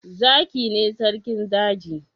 Zaki ne sarkin daji